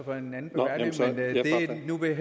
vil